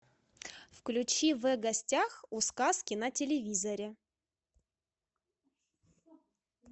включи в гостях у сказки на телевизоре